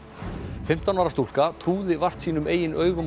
fimmtán ára stúlka trúði vart sínum eigin augum og